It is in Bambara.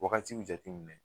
Wagati jate minɛ.